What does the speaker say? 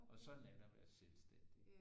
Og sådan er det at være selvstændig